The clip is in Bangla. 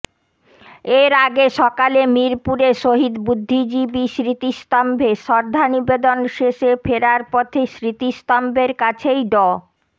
এর আগে সকালে মিরপুরে শহীদ বুদ্ধিজীবী স্মৃতিস্তম্ভে শ্রদ্ধা নিবেদন শেষে ফেরার পথে স্মৃতিস্তম্ভের কাছেই ড